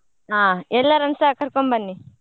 ಹಾ ಎಲ್ಲರನ್ನೂಸ ಕರ್ಕೊಂಬನ್ನಿ.